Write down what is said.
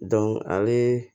ale